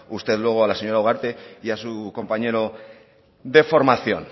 usted luego a la señora ugarte y a su compañero de formación